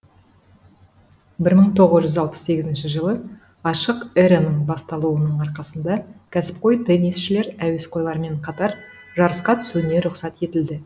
бір мың тоғыз жүз алпыс сегізінші жылы ашық эраның басталуының арқасында кәсіпқой теннисшілер әуесқойлармен қатар жарысқа түсуіне рұқсат етілді